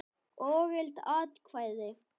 Ógild atkvæði